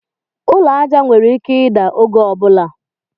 Ụlọ aja nwere ike ida oge ọbula